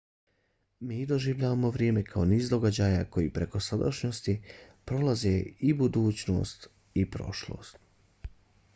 mi doživljavamo vrijeme kao niz događaja koji preko sadašnjosti prolaze iz budućnosti u prošlost